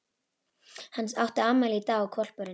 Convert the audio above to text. Hann átti afmæli í dag og hvolpurinn